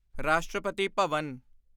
ਰਾਸ਼ਟਰਪਤੀ ਭਵਨ